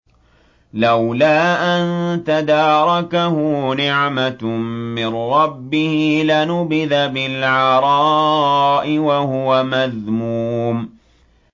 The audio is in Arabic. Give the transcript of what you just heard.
لَّوْلَا أَن تَدَارَكَهُ نِعْمَةٌ مِّن رَّبِّهِ لَنُبِذَ بِالْعَرَاءِ وَهُوَ مَذْمُومٌ